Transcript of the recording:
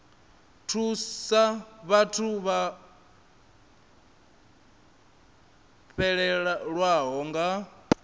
thusa vhathu vho fhelelwaho nga